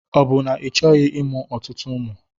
Ọ bụ na Ị chọghị ịmụ ọtụtụ ụmụ?